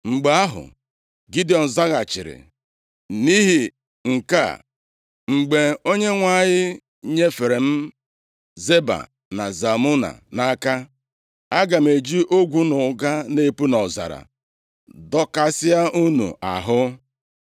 Mgbe ahụ, Gidiọn zaghachiri, “Nʼihi nke a, mgbe Onyenwe anyị nyefere m Zeba na Zalmuna nʼaka, aga m eji ogwu na ụga na-epu nʼọzara dọkasịa unu ahụ.”